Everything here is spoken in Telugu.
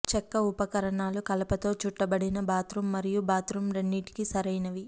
చెక్క ఉపకరణాలు కలపతో చుట్టబడిన బాత్రూం మరియు బాత్రూం రెండింటికీ సరైనవి